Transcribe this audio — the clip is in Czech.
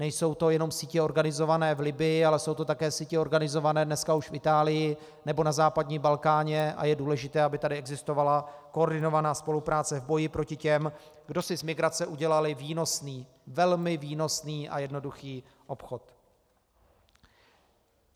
Nejsou to jenom sítě organizované v Libyii, ale jsou to také sítě organizované dneska už v Itálii nebo na západním Balkáně a je důležité, aby tady existovala koordinovaná spolupráce v boji proti těm, kdo si z migrace udělali výnosný, velmi výnosný a jednoduchý obchod.